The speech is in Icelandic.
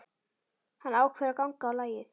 Hann ákveður að ganga á lagið.